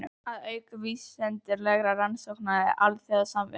Að auka vísindalegar rannsóknir og alþjóðasamvinnu.